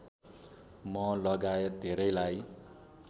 म लगायत धेरैलाई